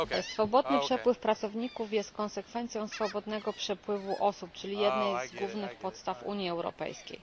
Swobodny przepływ pracowników jest konsekwencją swobodnego przepływu osób, czyli jednej z głównych podstaw Unii Europejskiej.